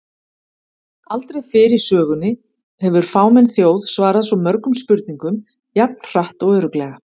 Aldrei fyrr í sögunni hefur fámenn þjóð svarað svo mörgum spurningum jafn hratt og örugglega!